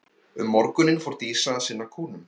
Um morguninn fór Dísa að sinna kúnum.